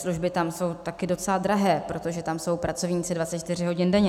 Služby tam jsou taky docela drahé, protože tam jsou pracovníci 24 hodin denně.